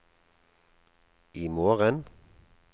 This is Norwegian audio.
imorgen